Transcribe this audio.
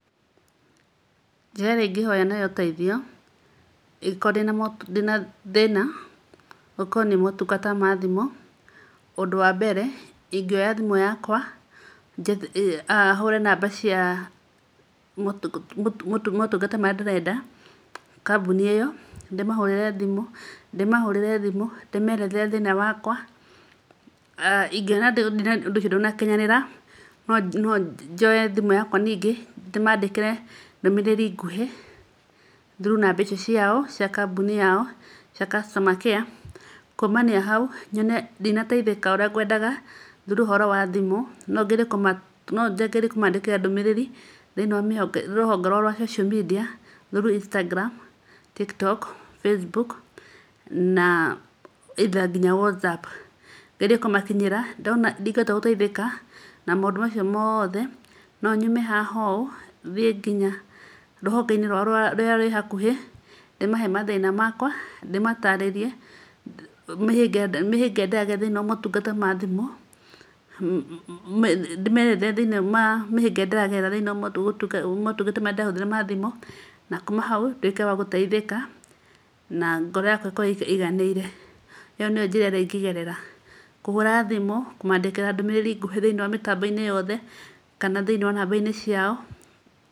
Njĩra ĩrĩa ingĩhoya nayo ũteithio ingĩkorwo ndĩ na thĩna, okorwo nĩ motungata ma thimũ: Ũndũ wa mbere ingĩoya thimũ yakwa hũre namba cia motungata marĩa ndĩrenda; kambuni ĩyo ndĩmahũrĩre thimũ ndĩmerethere thĩna wakwa. Ingĩona ndũnakinyanĩra, no njoe thimũ yakwa ningĩ, ndĩmandĩkĩre ndũmĩrĩri nguhĩ through namba icio ciao, cia kambuni yao cia customer care. Kũmania hau nyone ndinateithĩka ũrĩa ngwendaga through ũhoro wa thimũ no ngerie kũmandĩkĩra ndũmĩrĩri thĩini wa rũhonge rwao rwa social media, through Instagram, Tiktok Facebook na either nginya WhatsApp. Ngerie kũmakinyĩra, ndona ndingĩhota gũteithĩka na maũndũ macio mothe, no nyume haha ũ thiĩ nginya rũhonge-inĩ rũrĩa rwĩ hakũhĩ ndĩmahe mathĩna makwa, ndĩmatarĩrie mĩhĩnga ĩrĩa ndĩragerera thĩ-inĩ wa motungata ma thimũ. Na kuma hau ndwĩke wa gũteithĩka na ngoro yakwa ĩkorwo ĩiganĩire. Ĩyo nĩyo njĩra ĩrĩa ingĩgerera: kũhũra thimũ, kũmandĩkĩra ndũmĩrĩri nguhĩ thĩ-inĩ wa mĩtambo-inĩ yothe kana thĩ-inĩ wa namba-inĩ ciao.